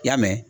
I y'a mɛn